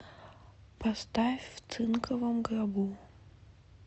поставь в цинковом гробу